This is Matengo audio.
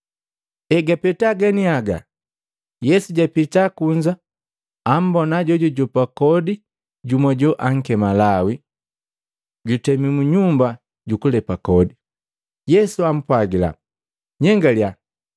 Egapeta ganiaga, Yesu japita kunza ambona jojujopa kodi jumu joankema Lawi, jutemi mu nyumba jukulepe kodi. Yesu ampwagila, “Nyengalya!”